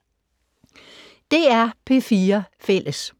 DR P4 Fælles